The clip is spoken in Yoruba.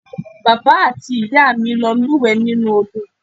Bàbá àti ìyá mi lọ lúùwẹ́ nínú Odò